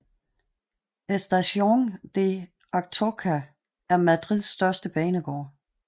Estación de Atocha er Madrids største banegård